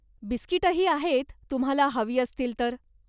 बिस्कीटंही आहेत, तुम्हाला हवी असतील तर.